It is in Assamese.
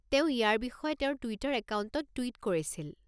তেওঁ ইয়াৰ বিষয়ে তেওঁৰ টুইটাৰ একাউণ্টত টুইট কৰিছিল।